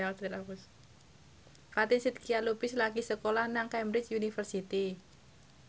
Fatin Shidqia Lubis lagi sekolah nang Cambridge University